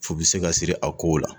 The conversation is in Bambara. Fu bɛ se ka siri a kow la